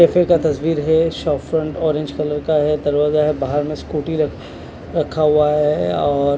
cafe का तस्वीर है शॉप फ्रंट ऑरेंज कलर का है दरवाजा है बाहर में स्कूटी रख रखा हुआ है और--